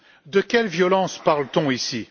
De quelle violence parle t on ici?